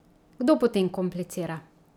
Kdo potem komplicira?